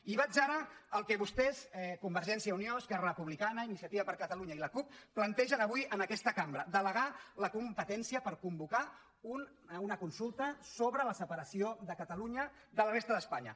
i vaig ara al que vostès convergència i unió esquerra republicana iniciativa per catalunya i la cup plantegen avui en aquesta cambra delegar la competència per convocar una consulta sobre la separació de catalunya de la resta d’espanya